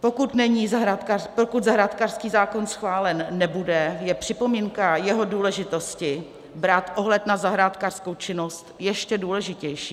Pokud zahrádkářský zákon schválen nebude, je připomínka jeho důležitosti brát ohled na zahrádkářskou činnost ještě důležitější.